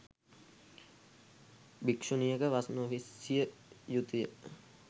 භික්‍ෂුණියක වස් නොවිසිය යුතු ය.